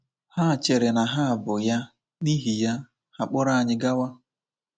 Ha chere na ha bụ ya, n’ihi ya, ha kpọrọ anyị gawa.